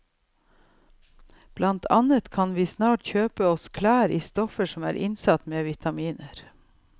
Blant annet kan vi snart kjøpe oss klær i stoffer som er innsatt med vitaminer.